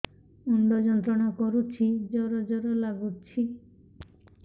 ମୁଣ୍ଡ ଯନ୍ତ୍ରଣା କରୁଛି ଜର ଜର ଲାଗୁଛି